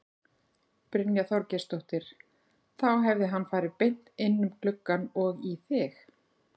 Brynja Þorgeirsdóttir: Þá hefði hann farið beint inn um gluggann og í þig?